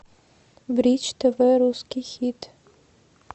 бридж тв русский хит